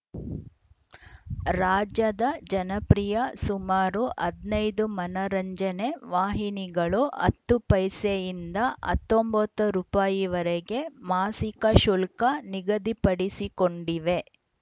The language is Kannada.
ರಾಜ್ಯದ ಜನಪ್ರಿಯ ಸುಮಾರು ಹದಿನೈದು ಮನರಂಜನೆ ವಾಹಿನಿಗಳು ಹತ್ತು ಪೈಸೆಯಿಂದ ಹತ್ತೊಂಬತ್ತು ರುಪಾಯಿವರೆಗೆ ಮಾಸಿಕ ಶುಲ್ಕ ನಿಗದಿಪಡಿಸಿಕೊಂಡಿವೆ